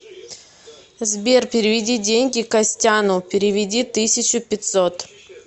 сбер переведи деньги костяну переведи тысячу пятьсот